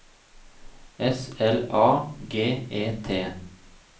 S L A G E T